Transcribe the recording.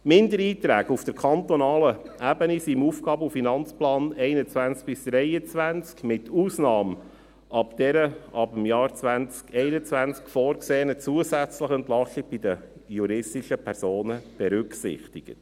Die Mindererträge auf kantonaler Ebene sind im Aufgaben- und Finanzplan 2021–23 (AFP) mit Ausnahme der ab dem Jahr 2021 vorgesehenen zusätzlichen Entlastung bei den juristischen Personen berücksichtigt.